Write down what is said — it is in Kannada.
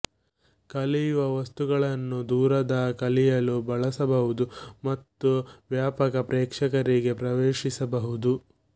ಕಲಿಯುವ ವಸ್ತುಗಳನ್ನು ದೂರದ ಕಲಿಯಲು ಬಳಸಬಹುದು ಮತ್ತು ವ್ಯಾಪಕ ಪ್ರೇಕ್ಷಕರಿಗೆ ಪ್ರವೇಶಿಸಬಹುದು